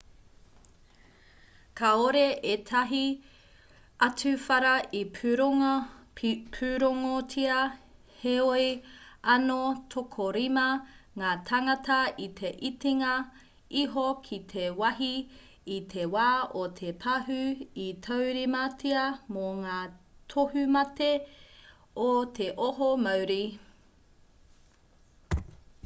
kāore ētahi atu whara i pūrongotia heoi anō tokorima ngā tāngata i te itinga iho ki te wāhi i te wā o te pahū i taurimatia mō ngā tohumate o te oho mauri